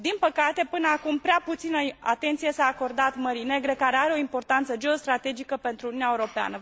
Din păcate, până acum, prea puțină atenție s a acordat Mării Negre, care are o importanță geostrategică pentru Uniunea Europeană.